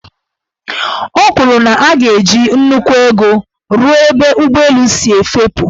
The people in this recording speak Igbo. O kwuru na a ga-eji nnukwu ego rụọ ebe ụgbọelu si efepu.